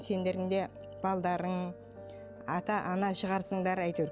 сендердің де ата ана шығарсыңдар әйтеуір